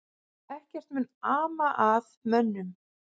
Ekkert mun ama að mönnunum